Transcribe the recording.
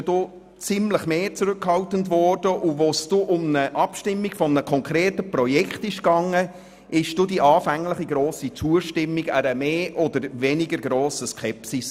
Bei anderen Regionen war man zurückhaltender, und als es um die Abstimmung über ein konkretes Projekt ging, wich die anfänglich hohe Zustimmung einer mehr oder weniger grossen Skepsis.